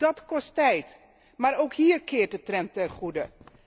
Dat kost tijd, maar ook hier keert de trend ten goede.